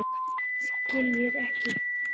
Skiljir ekki.